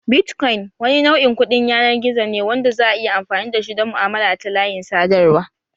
Bitcoin wani nau'in kuɗin yanar gizo ne wanda za'a iya amfani dashi don mu'amala ta layin sadarwa